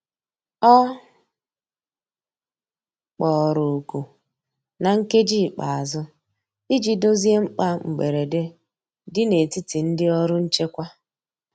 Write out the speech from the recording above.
Ọ kpọrọ oku na nkeji ikpeazu ịjị dozie mkpa mgberede di n'etiti ndi ọrụ nchekwa